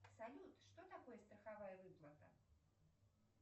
салют что такое страховая выплата